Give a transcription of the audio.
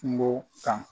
Kungo kan